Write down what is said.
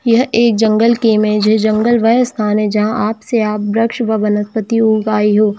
यह एक जंगल टीम की है जंगल वह जगह है जहां पर आप वर्ष का वृक्ष उज आई हो--